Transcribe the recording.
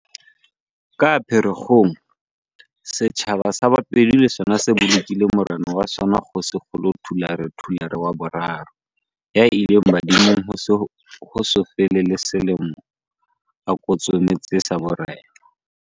Ka Phe rekgong, setjhaba sa Bapedi le sona se bolokile morena wa sona Kgoshikgolo Thulare Thulare wa boraro, ya ileng badimong ho so fele le selemo a kotsometse sa borena.